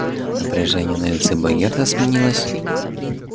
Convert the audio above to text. напряжение на лице богерта сменилось